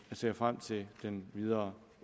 vi ser frem til den videre